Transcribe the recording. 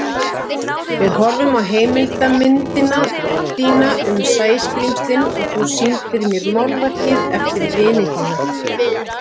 Við horfðum á heimildarmyndina þína um Sæskrímslin og þú sýndir mér málverk eftir vini þína.